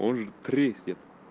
он же треснет